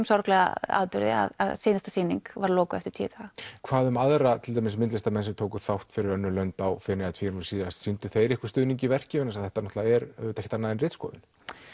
sorglega atburði að síðasta sýning var lokuð eftir tíu daga hvað um aðra myndlistarmenn sem tóku þátt fyrir önnur lönd á Feneyjatvíæringnum síðast sýndu þeir ykkur stuðning í verki vegna þess að þetta er auðvitað ekkert annað en ritskoðun